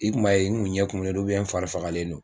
I kun b'a ye n kun ɲɛ kumulen no n fari fagalen no.